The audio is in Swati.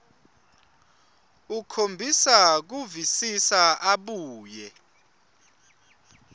ukhombisa kuvisisa abuye